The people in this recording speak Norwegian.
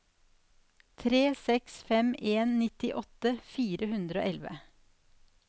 tre seks fem en nittiåtte fire hundre og elleve